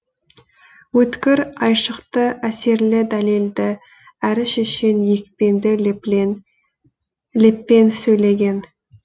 өткір айшықты әсерлі дәлелді әрі шешен екпінді леппен сөйлеген